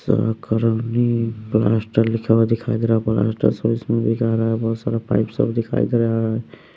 लिखा हुआ दिखाई दे रहा है प्लास्टर सब इसमें दिखा रहा है बहुत सारा पाईप सब दिखाई दे रहा है।